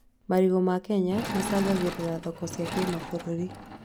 Marigũ ma Kenya macangagĩra thoko cia kĩmabũrũri